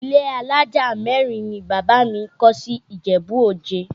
Ilé alájà mẹ́rin ni bàbá mi kọ́ sí Ìjẹ̀bú Òde